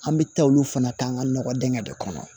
An bɛ taa olu fana k'an ka nɔgɔ dɛngɛ de kɔnɔ